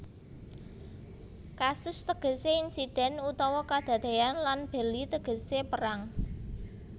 Casus tegesé insiden utawa kadadéyan lan belli tegesé perang